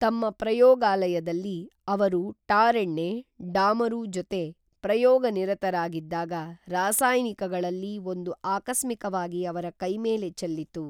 ತಮ್ಮ ಪ್ರಯೋಗಾಲಯದಲ್ಲಿ ಅವರು ಟಾರೆಣ್ಣೆ, ಡಾಮರು ಜೊತೆ ಪ್ರಯೋಗ ನಿರತರಾಗಿದ್ದಾಗ ರಾಸಾಯನಿಕಗಳಲ್ಲಿ ಒಂದು ಆಕಸ್ಮಿಕವಾಗಿ ಅವರ ಕೈಮೇಲೆ ಚೆಲ್ಲಿತು